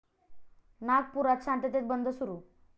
नागपुरात शांततेत बंद सुरू